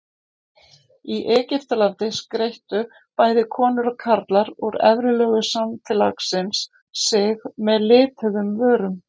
Í Egyptalandi skreyttu bæði konur og karlar úr efri lögum samfélagsins sig með lituðum vörum.